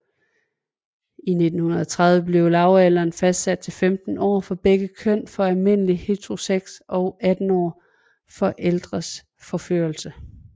I 1930 blev lavalderen fastsat til 15 år for begge køn for almindelig heterosex og 18 år for ældres forførelse